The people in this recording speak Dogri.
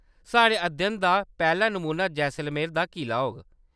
साढ़े अध्ययन दा पैह्‌‌ला नमूना जैसलमेर दा किला होग।